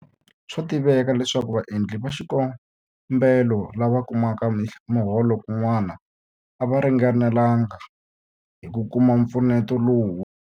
Swa tiveka leswaku vaendli va xikombelo lava kumaka miholo kun'wana a va ringanelanga hi ku kuma mpfuneto lowu.